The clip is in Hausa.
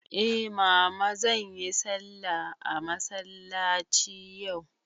Eh mama, zanyi sallah a masallaci yau.